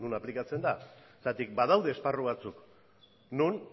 aplikatzen da badaude esparru batzuk non